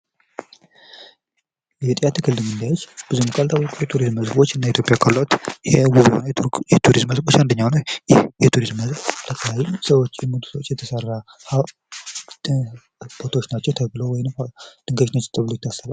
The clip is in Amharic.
የጦያ ትክል ድንጋዮች ብዙም ካልታወቁ የቱሪዝም መስህቦች እና ኢትዮጵያ ካሏት የቱሪዝም መስቦች አንደኛው ነው። ይህ የቱሪስት መስህብ የአካባቢው ሰዎች የሞቱ ሰዎች የተሰራ ሃውልት ናቸው ተብለው ድንጋዮች ናቸው ተብሎ ይታሰባል።